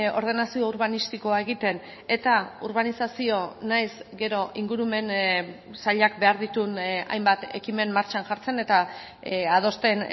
ordenazio urbanistikoa egiten eta urbanizazio nahiz gero ingurumen sailak behar dituen hainbat ekimen martxan jartzen eta adosten